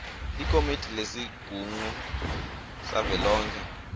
likomidi lesigungu savelonkhe